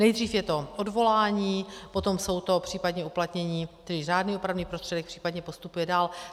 Nejdřív je to odvolání, potom jsou to případně uplatnění, tedy řádný opravný prostředek, případně postupuje dál.